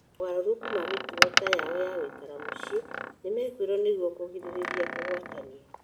Mogarũrũku ma mĩtugo ta mao ta gũikara mũciĩ, nĩmekirwo nĩguo kũgirĩrĩria kũgwatania.